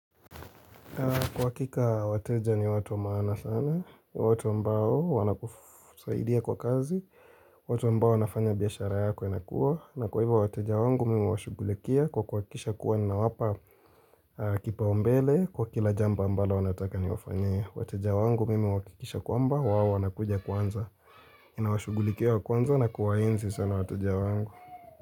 Kwa hakika wateja ni watu wa maana sana, watu ambao wanakusaidia kwa kazi, watu ambao wanafanya biashara yako inakuwa, na kwa hivyo wateja wangu mimi huwashughulikia kwa kuhakikisha kuwa nawapa kipao mbele kwa kila jambo ambalo wanataka niwafanyie. Wateja wangu mimi huhakikisha kwamba wao wanakuja kwanza, ninawashughulikia wa kwanza na kuwaenzi sana wateja wangu.